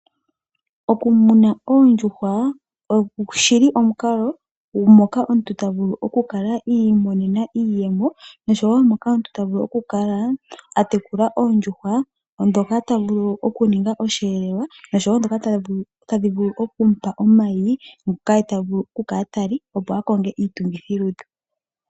Okumuna oondjuhwa oshi li omukalo moka omuntu ta vulu okukala iimonena iiyemo noshowo moka omuntu ta vulu okukala a tekula oondjuhwa ndhoka ta vulu okuninga osheelelwa nosho wo ndhoka tadhi vulu okumu pa omayi ngoka ye ta vulu okukala ta li, opo a konge iitungithilutu.